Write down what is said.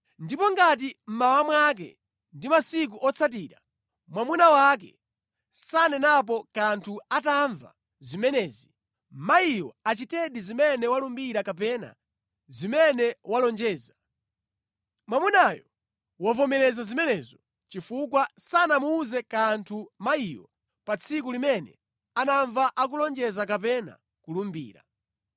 Ndipo ngati mmawa mwake ndi masiku otsatira mwamuna wake sanenapo kanthu atamva zimenezi, mayiyo achitedi zimene walumbira kapena zimene walonjeza. Mwamunayo wavomereza zimenezo, chifukwa sanamuwuze kanthu mayiyo pa tsiku limene anamva akulonjeza kapena kulumbira.